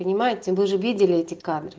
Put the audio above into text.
понимаете мы даже видели эти кадры